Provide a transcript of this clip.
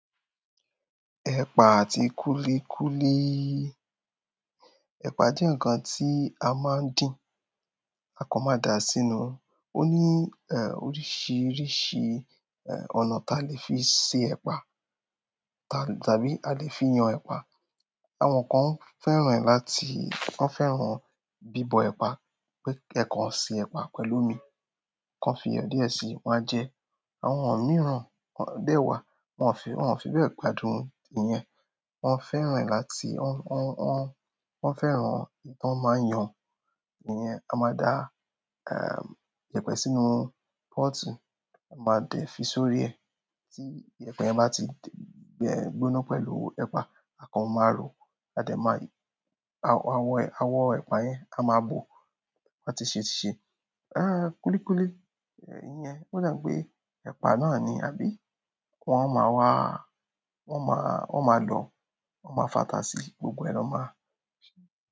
Ẹ̀pà àti kúlíkúlí. Ẹ̀pà jẹ́ ǹkan tí a máa ń dín, a kò máa dà á sínú. Ó ní, eh, oríṣiríṣi, eh, ọ̀nà tí a lè fi se ẹ̀pà, ta-- tàbí a lè fi yan ẹ̀pà. Àwọn kan fẹ́ràn láti-- wọ́n fẹ́ràn bíbọ ẹ̀pà, pé ẹ kan ṣe ẹ̀pà pẹ̀lú omi, kan fi iyọ díẹ̀ sí i, wọ́n máa jẹ ẹ́. Àwọn míràn dẹ̀ wà wọn o fi bẹ gbádùn ìyẹn. Wọ́n fẹ́ràn láti-- wọ́n, wọ́n, wọ́n fẹ́ràn bí wọ́n máa ń yan ìyẹn. A máa dà, eh, yẹpẹ́ sínú pọ́ọ̀tù, a máa dẹ̀ fi sórí ẹ, tí yẹpẹ́ bá ti gbóná pẹ̀lú ẹ̀pà, àkọ́ń máa ro, a dẹ̀ máa y-- àwọn, àwọn ẹ̀pà yẹn á máa bò tí wọn ṣe ṣe. Eh, kúlíkúlí, eh, ìyẹn, óò dà ń pé ẹ̀pà náà ni, àbí wọ́n máa wá, wọ́n máa, wọ́n máa lọ, wọ́n máa fatà sí i, gbogbo na máa ṣe.